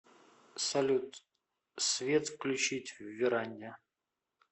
салют свет включить в веранде